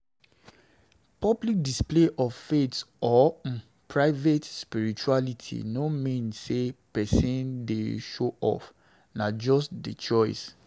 Public display of faith or um private spirituality no really mean sey person dey show off, na just di choice